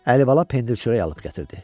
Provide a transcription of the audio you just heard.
Əlibala pendir-çörək alıb gətirdi.